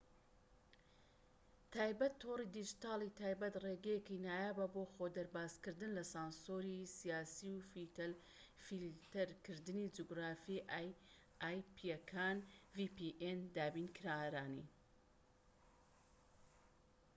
دابینکارانی vpn ی تایبەت تۆڕی دیجیتاڵیی تایبەت ڕێگەیەکی نایابە بۆ خۆدەربازکردن لە سانسۆری سیاسی و فیلتەرکردنی جوگرافیی ئایپیەکان